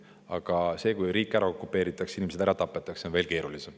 Aga see, kui riik ära okupeeritakse ja inimesed ära tapetakse, on veel keerulisem.